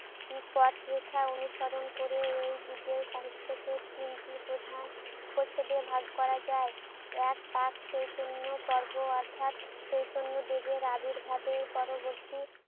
এ পথরেখা অনুসরণ করে এ যুগের সাহিত্যকে তিনটি প্রধান পর্ষদে ভাগ করা যায়। এক, প্রাক চৈতন্য পর্ব অর্থাৎ চৈতন্যদেবের আবির্ভাবের পরবর্তী